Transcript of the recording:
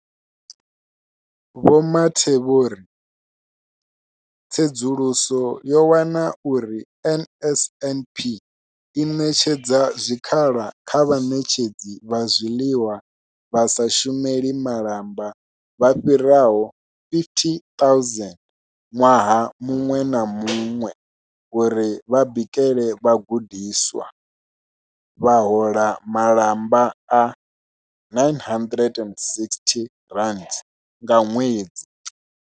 Vho Mathe vho ri tsedzuluso yo wana uri NSNP i ṋetshedza zwikhala kha vhaṋetshedzi vha zwiḽiwa vha sa shumeli malamba vha fhiraho 50 000 ṅwaha muṅwe na muṅwe uri vha bikele vhagudiswa, vha hola malamba a R960 nga ṅwedzi.